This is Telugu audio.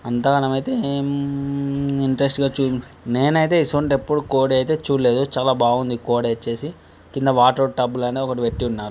అంతా గానం అయితే ఏం ఇన్స్ట్రెస్ట్ గా చు నేనైతే ఇసొంటిది యెప్పుడు కొడైతే చూడలేదు చాల బాగుండి కోడి వచ్చేసి కింద వాటర్ టబ్బు గాని ఒకటి పెట్టి ఉన్నారు.